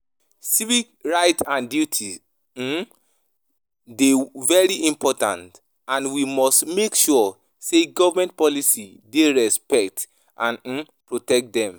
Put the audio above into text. Civic rights and duties um dey very important and we must make sure say government policies dey respect and um protect dem.